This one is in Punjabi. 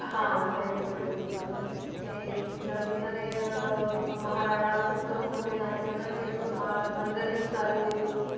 ਹਾਂ ਬਿਲਕੁਲ ਬਿਲਕੁਲ ਤੇ ਜਿੱਦਾਂ ਕਿ ਇਹਨਾਂ ਨੇ ਅਹ ਮਹਾਰਾਣਾ ਦਾ ਪੁੱਤਰ ਹੋਣ ਦੇ ਨਾਤੇ ਇਹਨਾਂ ਨੇ ਮ~ ਮੰਦਿਰ ਵੀ ਉਸਾਰੇ ਲਈ